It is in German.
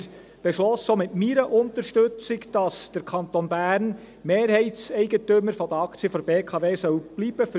Dort beschlossen wir – auch mit meiner Unterstützung –, dass der Kanton Bern Mehrheitseigentümer der Aktien der BKW bleiben soll.